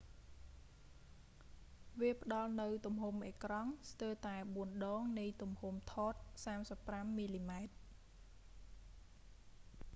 វាផ្តល់នូវទំហំអេក្រង់ resolution ស្ទើរតែបួនដងនៃទំហំហ្វិលថត35 មីលីម៉ែត្រ 3136 ទល់នឹង 864